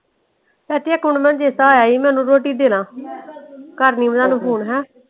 ਇਕ ਮਿੰਟ ਮੈਨੂੰ ਚੇਤਾ ਆਇਆ ਈ ਮੈਂ ਇਹਨੂੰ ਰੋਟੀ ਦੇ ਲਾਂ। ਕਰਦੀ ਮੈਂ ਤੁਹਾਨੂੰ Phone ਹੈਂ।